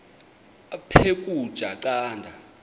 aphek ukutya canda